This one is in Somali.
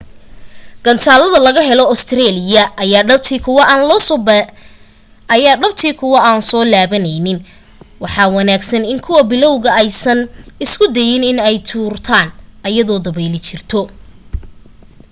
gantaalada laga helo ostereeliya aya dhabti kuwo aan soo laabaneynin waxaa wanaagsan in kuwa bilaawga aysan isku dayin in ay tuurtan ayadoo dabeyl jirto